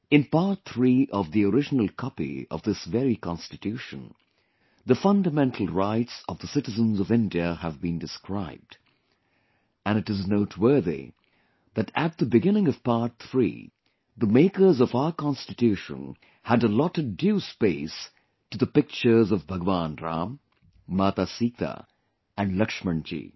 In part three of the original copy of this very Constitution, the fundamental rights of the citizens of India have been described and it is noteworthy that at the beginning of Part three, the makers of our Constitution had allotted due space to the pictures of Bhagwan Ram, Mata Sita and Lakshman ji